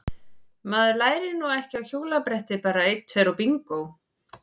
Maður lærir nú ekki á hjólabretti bara einn tveir og bingó!